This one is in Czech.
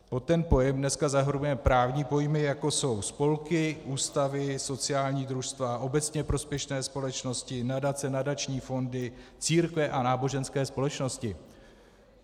Pod ten pojem dneska zahrnujeme právní pojmy, jako jsou spolky, ústavy, sociální družstva, obecně prospěšné společnosti, nadace, nadační fondy, církve a náboženské společnosti.